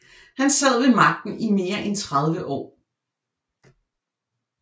Han sad ved magten i mere end 30 år